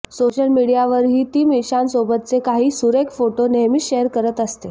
social मीडियावरही ती मिशानसोबतचे काही सुरेख फोटो नेहमीच शेअर करत असते